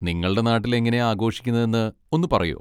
നിങ്ങളുടെ നാട്ടിലെങ്ങനെയാ ആഘോഷിക്കുന്നതെന്ന് ഒന്ന് പറയോ?